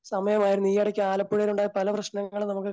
സമയമായിന്ന് ഈയിടയ്ക്ക് ആലപ്പുഴയിലുണ്ടായ പല പ്രശ്നങ്ങളും നമുക്ക്